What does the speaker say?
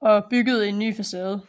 og byggede en ny facade